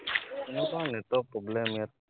এনেকুৱা network problem ইয়াত